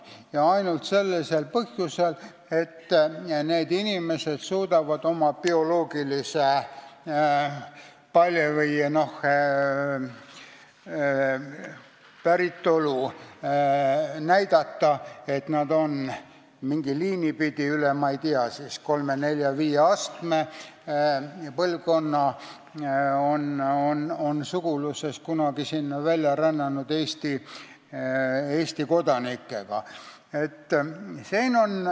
Seda ainult sellel põhjusel, et need inimesed suudavad oma bioloogilist päritolu näidata: nad on mingit liini pidi, üle kolme, nelja või viie põlvkonna suguluses kunagi sinna välja rännanud Eesti kodanikega.